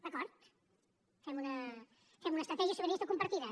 d’acord fem una estratègia sobiranista compartida